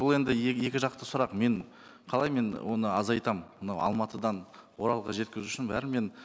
бұл енді екі жақты сұрақ мен қалай мен оны азайтамын мынау алматыдан оралға жеткізу үшін бәрібір мен